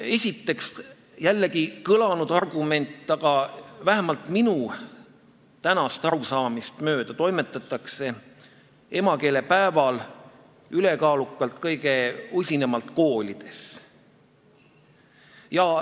Esiteks, see on jällegi küll juba kõlanud argument, aga vähemalt minu tänast arusaamist mööda toimetatakse emakeelepäeval ülekaalukalt kõige usinamalt koolides.